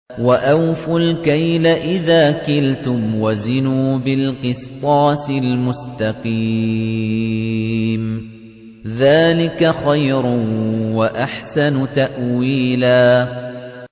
وَأَوْفُوا الْكَيْلَ إِذَا كِلْتُمْ وَزِنُوا بِالْقِسْطَاسِ الْمُسْتَقِيمِ ۚ ذَٰلِكَ خَيْرٌ وَأَحْسَنُ تَأْوِيلًا